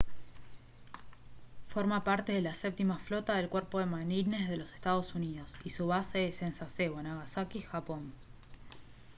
forma parte de la séptima flota del cuerpo de marines de los estados unidos y su base es en sasebo nagasaki japón